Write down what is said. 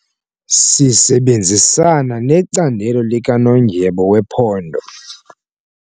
Sisebenzisana necandelo likanondyebo wephondo.